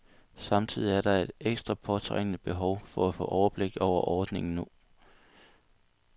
Samtidig er der et ekstra påtrængende behov for at få overblik over ordningen nu.